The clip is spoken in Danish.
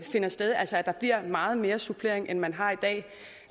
finder sted altså at der bliver meget mere supplering end man har i dag